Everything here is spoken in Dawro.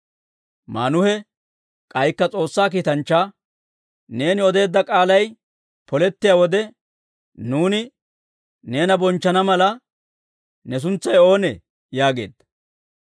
Maanuhe k'aykka S'oossaa kiitanchchaa, «Neeni odeedda k'aalay polettiyaa wode, nuuni neena bonchchana mala, ne suntsay oonee?» yaageedda.